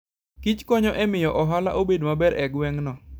Kich konyo e miyo ohala obed maber e gweng'no.